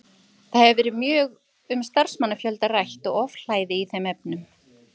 Það hefur verið mjög um starfsmannafjölda rætt og ofhlæði í þeim efnum.